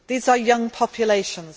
of students. These are young